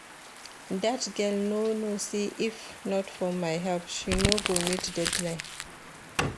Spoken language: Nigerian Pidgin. Dat girl no know say if not for my help she no go meet deadline